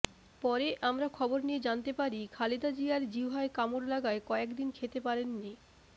পরে আমরা খবর নিয়ে জানতে পারি খালেদা জিয়ার জিহ্বায় কামড় লাগায় কয়েকদিন খেতে পারেননি